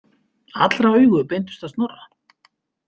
Allra augu beindust að Snorra.